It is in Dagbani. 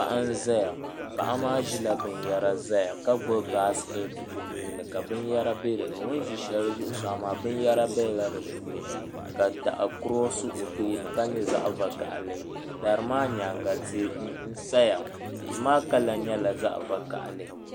Paɣa n ʒɛya paɣa maa ʒila binyɛra ʒɛya ka gbubi baskɛt o nuuni ka ka binyɛra bɛ dinni o ni ʒi shɛli zuɣusaa maa binyɛra biɛla di puuni ka daɣu kurosi o tooni ka nyɛ zaɣ vakaɣali dari maa nyaanga tihi n saya tihi maa kala nyɛla zaɣ vakaɣali